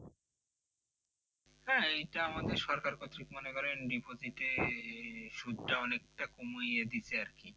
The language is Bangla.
হ্যাঁ এটা আমাদের সরকার করছে ঠিক মনে করেন deposit এ সুদটা অনেকটা কমিয়ে দিচ্ছে আর কি